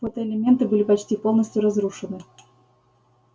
фотоэлементы были почти полностью разрушены